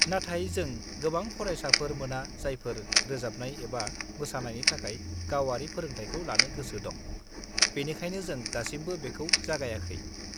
नाथाय जों गोबां फरायसाफोर मोना जायफोरा रोजाबनाय एबा मोसानायनि थाखाय गावारि फोरोंथायखौ लानो गोसो दं, बेनिखायनो जों दासिमबो बेखौ जागायाखै।